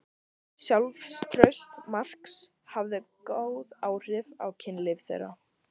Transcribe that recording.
Sjálfstraust Marks hafði góð áhrif á kynlíf þeirra.